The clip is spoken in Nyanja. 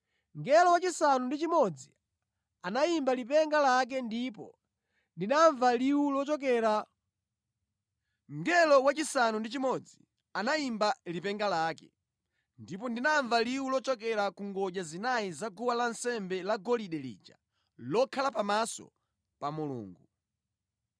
Mngelo wachisanu ndi chimodzi anayimba lipenga lake, ndipo ndinamva liwu lochokera ku ngodya zinayi za guwa lansembe lagolide lija lokhala pamaso pa Mulungu.